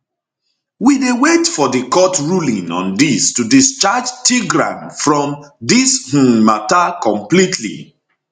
we dey wait for di court ruling on dis to discharge tigran from dis um mata completely